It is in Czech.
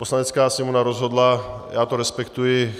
Poslanecká sněmovna rozhodla, já to respektuji.